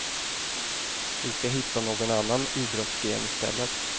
Vi skall hitta någon annan idrottsgren istället.